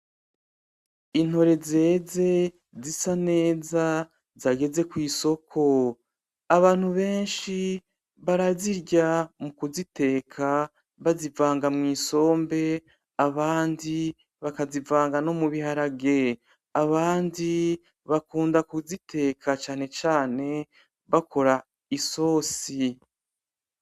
Intore zeze zisa neza zageze kw'isoko abantu benshi barazirya mu kuziteka bazivanga mw'isombe abandi bakazivanga no mu biharage abandi bakunda kuziteka cane cane bakora isosi.